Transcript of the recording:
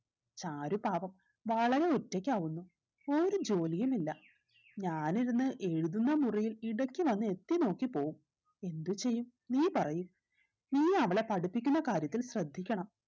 ചാരു പാവം വളരെ ഒറ്റയ്ക്കാവുന്നു ഒരു ജോലിയും ഇല്ല ഞാനിരുന്ന് എഴുതുന്ന മുറിയിൽ ഇടക്ക് വന്ന് എത്തിനോക്കി പോവും എന്ത് ചെയ്യും നീ പറയ് നീ അവളെ പഠിപ്പിക്കുന്ന കാര്യത്തിൽ ശ്രദ്ധിക്കണം